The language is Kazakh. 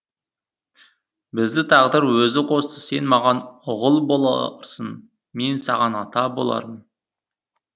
бізді тағдыр өзі қосты сен маған ұғыл боларсың мен саған ата болармын